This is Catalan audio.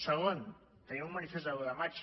segon tenim un manifest de l’un de maig